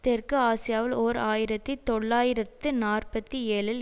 தெற்கு ஆசியாவில் ஓர் ஆயிரத்தி தொள்ளாயிரத்து நாற்பத்தி ஏழில்